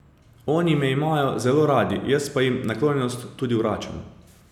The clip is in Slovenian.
Oni me imajo zelo radi, jaz pa jim naklonjenost tudi vračam.